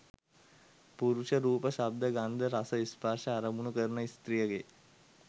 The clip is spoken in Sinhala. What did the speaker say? පුරුෂ, රූප, ශබ්ද, ගන්ධ, රස, ස්පර්ශ, අරමුණු කරන ස්ත්‍රියගේ